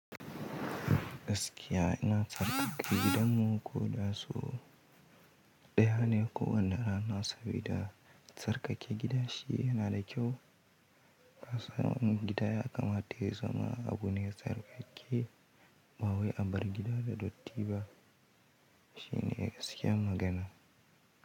Gaskiya ina tsarkake gidanmu ko da so ɗaya ne kowane rana sabida tsarkake gida shi yana da kyau. Kasan wani gida ya kama ya zama abu ne tsarkake. Ba wai abar gida da dotti ba shine gaskiyar magana.